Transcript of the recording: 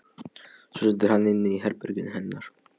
Svo situr hann inni í herberginu hennar.